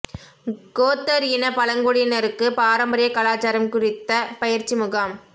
கோத்தா் இன பழங்குடியினருக்கு பாரம்பரிய கலாசாரம் குறித்த பயிற்சி முகாம்